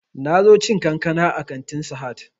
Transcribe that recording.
Na zo cin kankana a kantin sahad